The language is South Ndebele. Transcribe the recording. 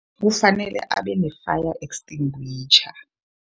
Kufanele abe ne-fire extinguisher.